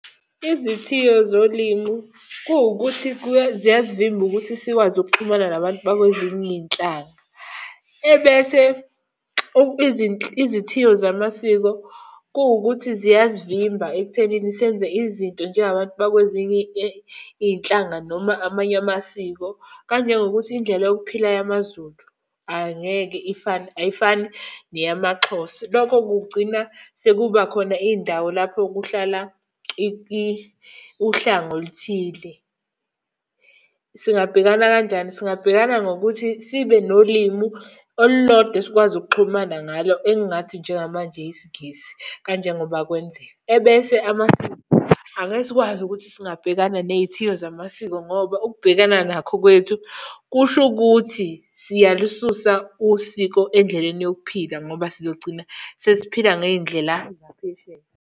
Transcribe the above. Izithiyo zolimu, kuwukuthi ziyasivimba ukuthi sikwazi ukuxhumana nabantu bakwezinye iy'nhlanga. Ebese izithiyo zamasiko kuwukuthi ziyasivimba ekuthenini senze izinto njengabantu bakwezinye iy'nhlanga noma amanye amasiko. Kanjengokuthi indlela yokuphila yamaZulu angeke ifane ayifani neyamaXhosa. Lokho kugcina sekuba khona iy'ndawo lapho kuhlala uhlanga oluthile. Singabhekana kanjani? Singabhekana ngokuthi sibe nolimu olulodwa esikwazi ukuxhumana ngalo, engingathi njengamanje isiNgisi kanjengoba kwenzeka. Ebese amasiko, angeke sikwazi ukuthi singabhekana ney'thiyo zamasiko ngoba ukubhekana nakho kwethu kusho ukuthi siyalususa usiko endleleni yokuphila ngoba sizogcina sesiphila ngey'ndlela zaphesheya.